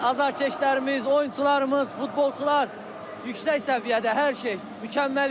Azarkeşlərimiz, oyunçularımız, futbolçular yüksək səviyyədə hər şey mükəmməl idi.